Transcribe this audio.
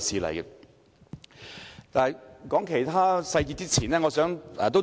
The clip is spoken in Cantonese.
談論其他細節之前，我想提出一點。